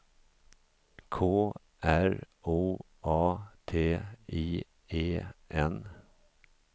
K R O A T I E N